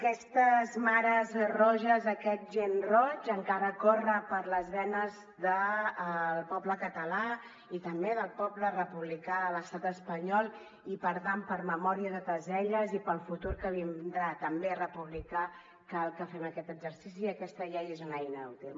aquestes mares roges aquest gen roig encara corre per les venes del poble català i també del poble republicà de l’estat espanyol i per tant per memòria de totes elles i pel futur que vindrà també republicà cal que fem aquest exercici i aquesta llei és una eina útil